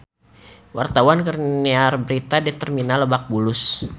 Wartawan keur nyiar berita di Terminal Lebak Bulus